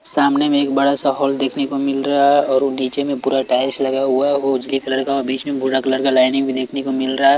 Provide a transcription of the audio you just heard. सामने में एक बड़ा सा हॉल देखने को मिल रहा है और वो डी_जे में पूरा टाइल्स लगा हुआ है वो उजली कलर का और बीच में भूरा कलर का लाइनिंग भी देखने को मिल रहा है।